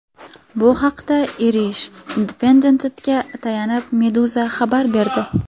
Bu haqda Irish Independent’ga tayanib Meduza xabar berdi .